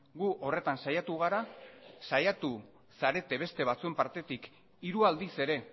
gu horretan saiatu gara saiatu zarete beste batzuen partetik hiru aldiz ere